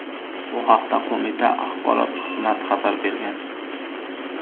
Bu haqda qo‘mita axborot xizmati xabar bergan .